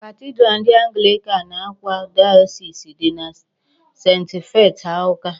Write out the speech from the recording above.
Cathedral ndị Anglican Awka Diocese dị na St. Faith Awka.